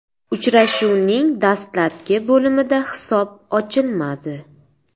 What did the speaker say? Uchrashuvning dastlabki bo‘limida hisob ochilmadi.